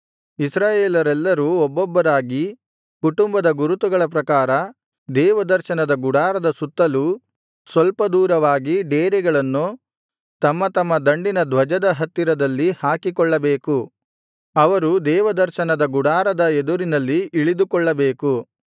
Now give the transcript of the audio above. ಇಸ್ರಾಯೇಲರೆಲ್ಲರೂ ಒಬ್ಬೊಬ್ಬರಾಗಿ ಕುಟುಂಬದ ಗುರುತುಗಳ ಪ್ರಕಾರ ದೇವದರ್ಶನದ ಗುಡಾರದ ಸುತ್ತಲೂ ಸ್ವಲ್ಪ ದೂರವಾಗಿ ಡೇರೆಗಳನ್ನು ತಮ್ಮ ತಮ್ಮ ದಂಡಿನ ಧ್ವಜದ ಹತ್ತಿರದಲ್ಲಿ ಹಾಕಿಕೊಳ್ಳಬೇಕು ಅವರು ದೇವದರ್ಶನದ ಗುಡಾರದ ಎದುರಿನಲ್ಲಿ ಇಳಿದುಕೊಳ್ಳಬೇಕು